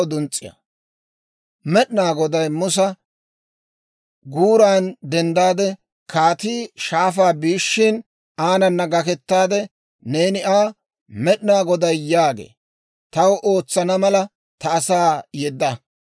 Med'inaa Goday Musa, «Guuran denddaade, kaatii shaafaa biishshin aanana gakettaade neeni Aa, ‹Med'inaa Goday yaagee; «Taw ootsana mala, ta asaa yedda;